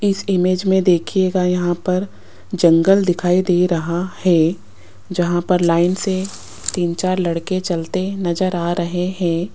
इस इमेज में देखिएगा यहां पर जंगल दिखाई दे रहा है जहां पर लाइन से तीन चार लड़के चलते नजर आ रहे हैं।